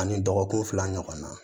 Ani dɔgɔkun fila ɲɔgɔnna